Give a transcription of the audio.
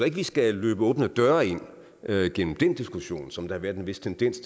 ikke vi skal løbe åbne døre ind gennem den diskussion som har været en vis tendens